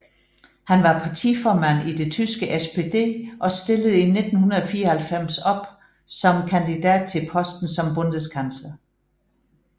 Han var partiformand i det tyske SPD og stillede i 1994 op som kandidat til posten som Bundeskansler